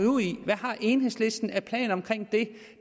ud i hvad har enhedslisten af planer om det